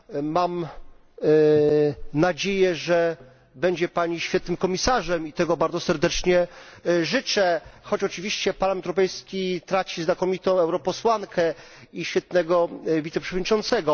Mam nadzieję, że będzie Pani świetnym komisarzem i tego bardzo serdecznie życzę, choć oczywiście Parlament Europejski traci znakomitą europosłankę i świetnego wiceprzewodniczącego.